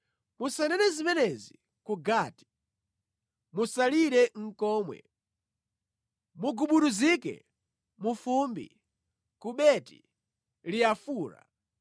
Musanene zimenezi ku Gati; musalire nʼkomwe. Mugubuduzike mu fumbi ku Beti-Leafura.